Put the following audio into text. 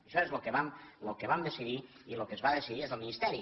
això és lo que vam decidir i lo que es va decidir des del ministeri